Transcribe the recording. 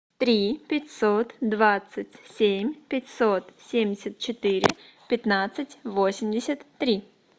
три пятьсот двадцать семь пятьсот семьдесят четыре пятнадцать восемьдесят три